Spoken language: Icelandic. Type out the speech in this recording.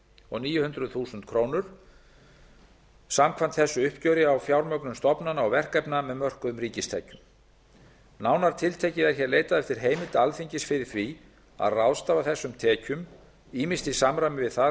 komma níu milljónir króna samkvæmt þessu uppgjöri á fjármögnun stofnana og verkefna með mörkuðum ríkistekjum nánar tiltekið er hér leitað eftir heimild alþingis fyrir því að ráðstafa þessum tekjum ýmist í samræmi við það